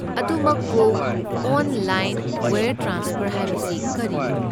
ꯑꯗꯨꯃꯛꯄꯨ, online wire transfer ꯍꯥꯏꯕꯁꯤ ꯀꯔꯤꯅꯣ?